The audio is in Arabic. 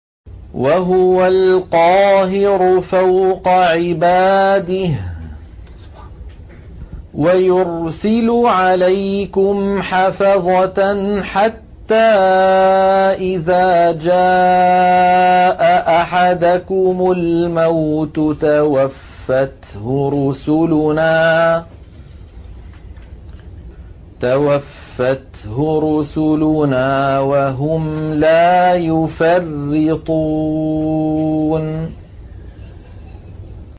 وَهُوَ الْقَاهِرُ فَوْقَ عِبَادِهِ ۖ وَيُرْسِلُ عَلَيْكُمْ حَفَظَةً حَتَّىٰ إِذَا جَاءَ أَحَدَكُمُ الْمَوْتُ تَوَفَّتْهُ رُسُلُنَا وَهُمْ لَا يُفَرِّطُونَ